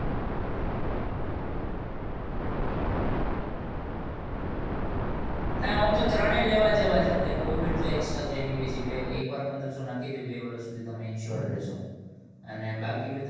નાં આમતો ત્રણેય એવા જેવા જ છે covid તો extra છે anyway એક વાર પદરસો નાખી દવ બે વર્ષ તમે insert રહેશો અને બાકી બધું